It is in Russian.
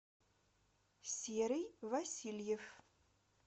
серый васильев